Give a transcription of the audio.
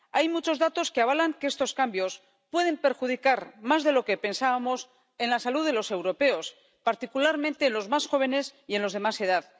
Hay muchos datos que avalan que estos cambios pueden perjudicar, más de lo que pensábamos, a la salud de los europeos, particularmente la de los más jóvenes y la de los de más edad.